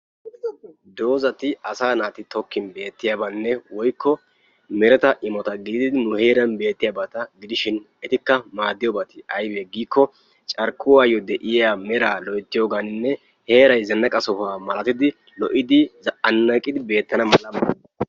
Doozati asaa naati tokkin beettiyabanne woykko mereta imota gididi nu heeran beettiyabata gidishin etikka maaddiyobati ayibe giikkoo carkkuwaayyo de"iya meraa loyttiyabanne heerayi zannaqa sohuwa malatidi lo"idi zannaqidi beettana mala...